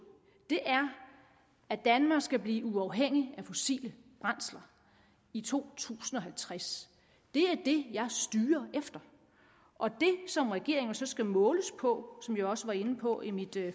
er at danmark skal blive uafhængigt af fossile brændsler i to tusind og halvtreds det er det jeg styrer efter og det som regeringen så skal måles på som jeg også var inde på i mit